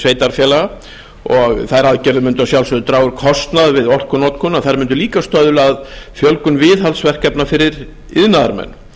sveitarfélaga og þær aðgerðir mundu að sjálfsögðu draga úr kostnaði við orkunotkun en þær mundu líka stuðla að fjölgun viðhaldsverkefna fyrir iðnaðarmenn